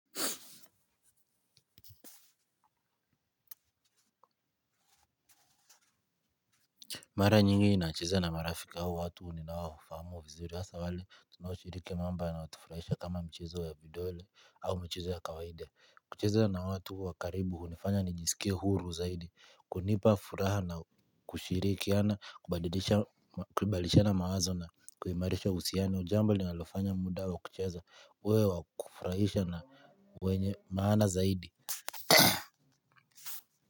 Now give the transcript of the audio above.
Mara nyingi ninacheza na marafiki au watu ninao wafahamu vizuri asa wale tunaoshiriki mambo yanayo tufuraisha kama mchezo ya vidole au michezo ya kawaida. Kucheza na watu wakaribu hunifanya nijisike huru zaidi kunipa furaha na kushirikiana kubadilisha kubalishana mawazo na kuhimarisha uhusiano jambo linalofanya muda wa kucheza uwe wakufuraisha na wenye maana zaidi.